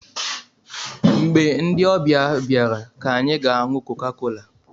Mgbe ndị ọbịa bịara ka anyị ga-aṅụ kokakola